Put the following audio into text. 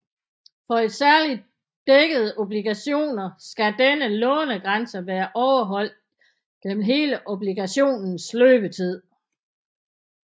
For særligt dækkede obligationer skal denne lånegrænse være overholdt gennem hele obligationens løbetid